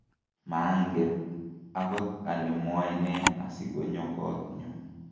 manget akot ale mwoe ne asikunyo koot nyu